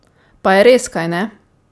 Pa je res, kajne?